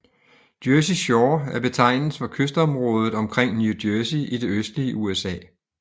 Jersey Shore er betegnelsen for kystområdet omkring New Jersey i det østlige USA